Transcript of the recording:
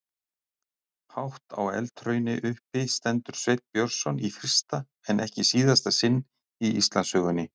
Hátt á eldhrauni uppi stendur Sveinn Björnsson í fyrsta en ekki síðasta sinn í Íslandssögunni.